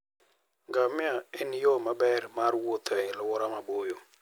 Ngamia en yo maber mar wuoth e alwora maboyo.